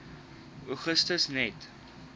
augustus net